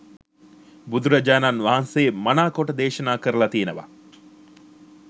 බුදුරජාණන් වහන්සේ මනාකොට දේශනා කරල තියෙනවා.